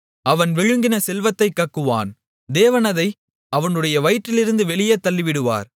அவன் விழுங்கின செல்வத்தைக் கக்குவான் தேவன் அதை அவனுடைய வயிற்றிலிருந்து வெளியே தள்ளிவிடுவார்